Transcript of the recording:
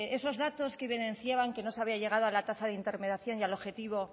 esos datos que evidenciaban que no se había llegado a la tasa de intermediación y al objetivo